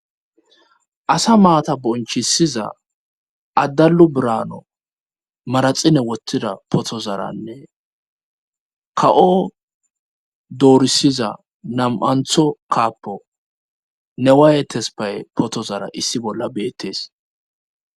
asa maata bonchisiza addallu braano maraxine wottida potozaranne ka7o doorisiza nam7antho kaappo ne waayetes paye potozara issi bolla beettees